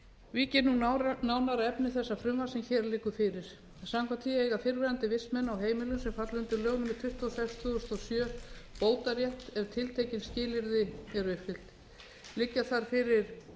vík ég nú nánar að efni þessa frumvarps sem hér liggur fyrir samkvæmt því eiga fyrrverandi vistmenn á heimilum sem falla undir lög númer tuttugu og sex tvö þúsund og sjö bótarétt ef tiltekin skilyrði eru uppfyllt liggja þar fyrir